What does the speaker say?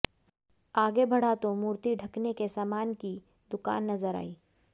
आगे बढ़ा तो मूर्ति ढंकने के सामान की दुकान नजर आई